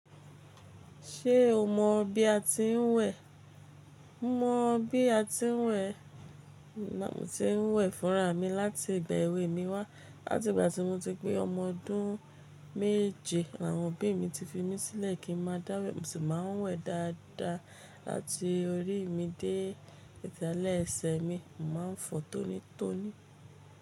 Ṣé o mọ bí a ti ń wẹ̀? Mọ mo bí a ti ń wẹ̀, mo tí ń wẹ̀ fúnra mi láti ìgbà èwe mi wá. Láti ìgbà tí mo ti pé ọmọ ọdún méje, àwọn òbí mi ti fi mí sílẹ̀ kí n máa dáwẹ̀. Mo sì máa ń wẹ̀ dáadáa láti orí mi dé ìtálẹ́ ẹsẹ̀ mi. Mo má ń fọ tónítóní.